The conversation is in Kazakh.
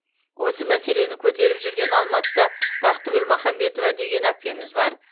осы мәселені көтеріп жүрген алматыда бақтыгүл махамбетова деген әпкеміз бар